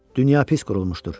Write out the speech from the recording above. Dünya pis qurulmuşdur.